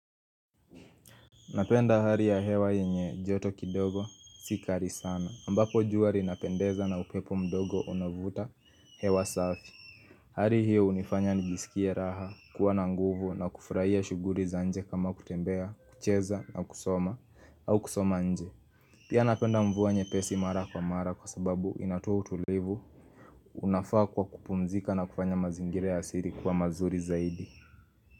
Napenda hali ya hewa yenye joto kidogo si kali sana ambapo jua linapendeza na upepo mdogo unavuta hewa safi Hali hiyo hunifanya nijisikie raha kuwa na nguvu na kufurahia shughuli za nje kama kutembea, kucheza na kusoma au kusoma nje Pia napenda mvua nyepesi mara kwa mara kwa sababu inatoa utulivu unafaa kwa kupumzika na kufanya mazingira asili kuwa mazuri zaidi.